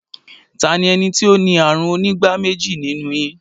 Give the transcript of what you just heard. Ta ni ó ní ààrùn onígbáméjì nínú yin?